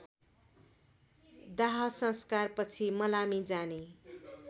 दाहसंस्कारपछि मलामी जाने